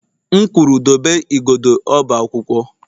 M kwuru dobe igodo ọba akwụkwọ!